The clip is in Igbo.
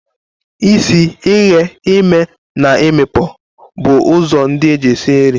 Isi, ighe, ime and imikpo bụ ụzọ ndị eji esi nri.